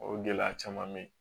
O gɛlɛya caman be ye